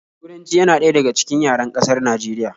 Turanci yana ɗaya daga cikin yaren ƙasar Najeriya